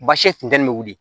Baasi funteni bɛ wili